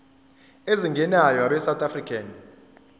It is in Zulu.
ezingenayo abesouth african